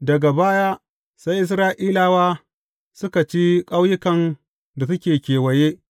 Daga baya, sai Isra’ilawa suka ci ƙauyukan da suke kewaye,